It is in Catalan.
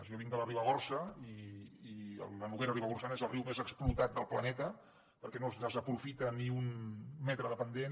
jo vinc de la ribagorça i la noguera ribagorçana és el riu més explotat del planeta perquè no es desaprofita ni un metre de pendent